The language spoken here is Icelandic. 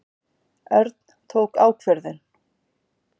Örn tók ákvörðun.